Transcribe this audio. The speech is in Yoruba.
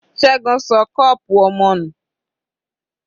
Ṣẹgun ṣọ cup ọmọ nù.